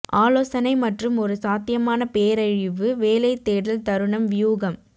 ஆலோசனை மற்றும் ஒரு சாத்தியமான பேரழிவு வேலை தேடல் தருணம் வியூகம்